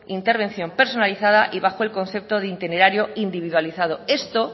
intervención personalizada y bajo el concepto de itinerario individualizado esto